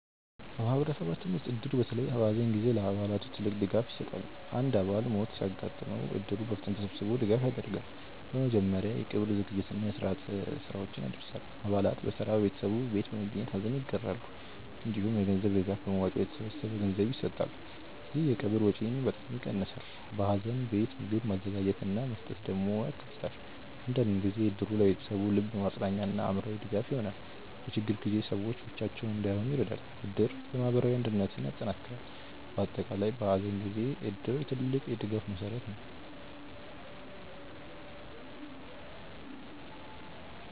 በማህበረሰባችን ውስጥ እድር በተለይ በሐዘን ጊዜ ለአባላቱ ትልቅ ድጋፍ ይሰጣል። አንድ አባል በሞት ሲያጋጥም እድሩ በፍጥነት ተሰብስቦ ድጋፍ ያደርጋል። በመጀመሪያ የቀብር ዝግጅት እና የስርዓት ስራዎችን ያደርሳል። አባላት በተራ በቤተሰቡ ቤት በመገኘት ሐዘን ይጋራሉ። እንዲሁም የገንዘብ ድጋፍ በመዋጮ በተሰበሰበ ገንዘብ ይሰጣል። ይህ የቀብር ወጪን በጣም ይቀንሳል። በሐዘን ቤት ምግብ ማዘጋጀት እና መስጠት ደግሞ ያካተታል። አንዳንድ ጊዜ እድሩ ለቤተሰቡ ልብ ማጽናኛ እና አእምሮ ድጋፍ ይሆናል። በችግር ጊዜ ሰዎች ብቻቸውን እንዳይሆኑ ይረዳል። እድር የማህበራዊ አንድነትን ያጠናክራል። በአጠቃላይ በሐዘን ጊዜ እድር ትልቅ የድጋፍ መሠረት ነው።